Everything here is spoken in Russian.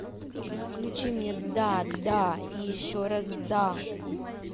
включи мне да да и еще раз да